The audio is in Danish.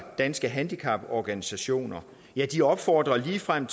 danske handicaporganisationer ja de opfordrer ligefrem